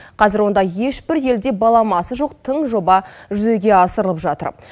қазір онда ешбір елде баламасы жоқ тың жоба жүзеге асырылып жатыр